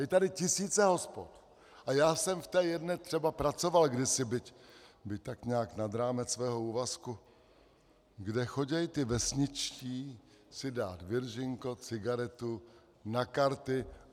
Je tady tisíce hospod a já jsem v té jedné třeba pracoval kdysi, byť tak nějak nad rámec svého úvazku, kde chodí ti vesničtí si dát viržinko, cigaretu, na karty.